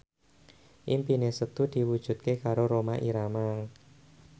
impine Setu diwujudke karo Rhoma Irama